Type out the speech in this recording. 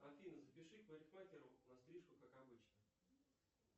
афина запиши к парикмахеру на стрижку как обычно